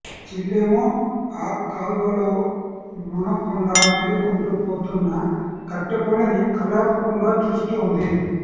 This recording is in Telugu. చెల్లేమో ఆ కాల్వలో మునక్కుండా తేలుకుంటూ పోతున్న కట్టెపుల్లని కళ్లార్పకుండా చూస్తోంది